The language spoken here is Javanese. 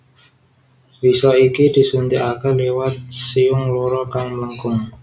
Wisa iki disuntikake liwat siung loro kang mlengkung